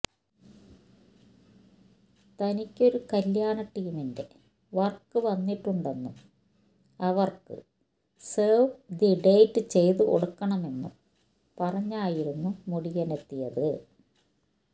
തനിക്കൊരു കല്യാണ ടീമിന്റെ വര്ക്ക് വന്നിട്ടുണ്ടെന്നും അവര്ക്ക് സേവ് ദി ഡേറ്റ് ചെയ്തുകൊടുക്കണമെന്നും പറഞ്ഞായിരുന്നു മുടിയനെത്തിയത്